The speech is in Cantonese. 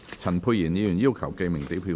陳沛然議員要求點名表決。